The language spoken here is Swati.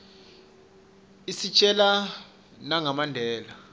isitjela nanga mandela